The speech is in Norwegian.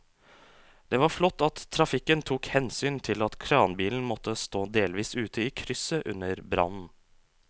Det var flott at trafikken tok hensyn til at kranbilen måtte stå delvis ute i krysset under brannen.